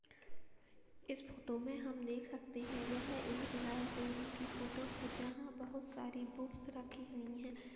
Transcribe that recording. इस फोटो में हम देख सकते हैं यह एक लाइब्रेरी की फोटो है जहाँ बहुत सारी बुक्स रखी हुई हैं।